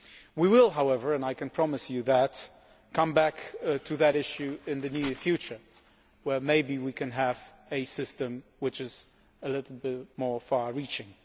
We will however and I can promise you that come back to that issue in the near future, when maybe we can have a system which is a little bit more far reaching.